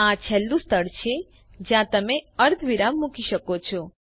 આ છેલ્લું સ્થળ છે જ્યાં તમે અર્ધવિરામ મૂકી શકો છો